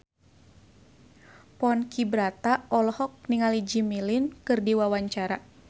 Ponky Brata olohok ningali Jimmy Lin keur diwawancara